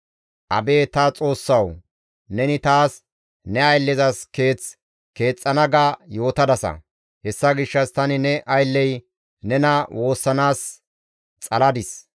«Abeet ta Xoossawu, ‹Neni taas ne ayllezas keeth keexxana ga yootadasa; hessa gishshas tani ne aylley nena woossanaas xaladis.